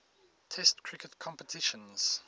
test cricket competitions